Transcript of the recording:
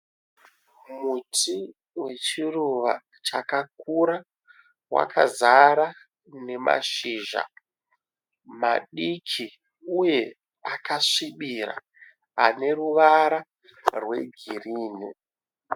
Muti wechiruva chakakura wakazara nemashizha madiki uye akasvibira ane ruvara rwe girinhi.